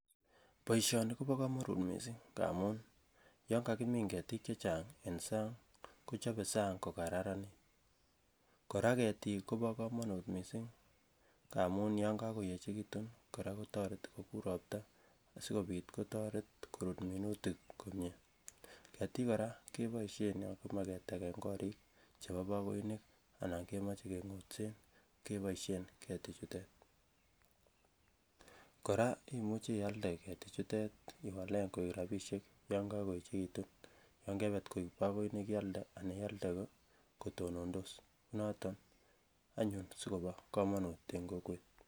Boisioni kobo komonut missing amun yan kakimin ketiik chechang en sang kochobe sang kokararanit kora ketiik kobo komonut missing amun yan kakoechekitun kora kotereti kokur ropta sikobit koteret korut minutik komie ketiik kora keboisien yan kimoe ketegen korik chebo bagoinik anan kemoche keng'otsen keboisien ketik chutet kora imuche ialde ketiik chutet iwalen koik rapisiek yon kakoechekitun yon kebet koik bagoinik ialde ana ialde kotonondos noton anyun sikobo komonut en kokwet